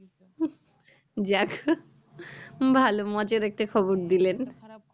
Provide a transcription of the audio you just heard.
যাক ভালো মজার একটা খবর দিলেন